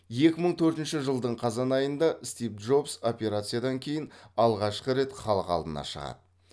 екі мың төртінші жылдың қазан айында стив джобс операциядан кейін алғашқы рет халық алдына шығады